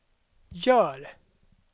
gör